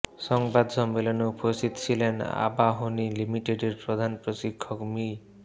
সংবাদ সম্মেলনে উপস্থিত ছিলেন আবাহনী লিমিটেডের প্রধান প্রশিক্ষক মি